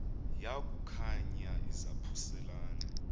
yaku khankanya izaphuselana